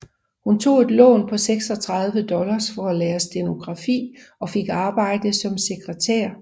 Hun tog et lån på 36 dollars for at lære stenografi og fik arbejde som sekretær